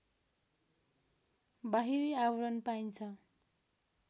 बाहिरी आवरण पाइन्छ